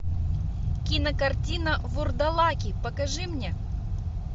кинокартина вурдалаки покажи мне